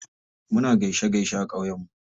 Muna gaishe gaishe a ƙauye mu.